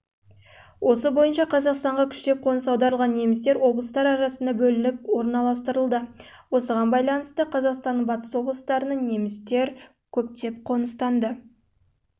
ол бойынша қазақстанға күштеп қоныс аударылған немістер облыстың бөліп орналастырылды осыған байланысты қазақстанның батыс облыстарына немістер